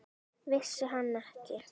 Vissi hann ekki?